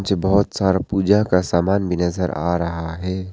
बहोत सारा पूजा का सामान भी नज़र आ रहा है।